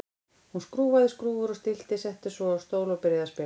Hún skrúfaði skrúfur og stillti, settist svo á stól og byrjaði að spila.